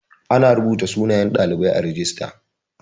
Ana rubuta sunayen ɗalibai a rajista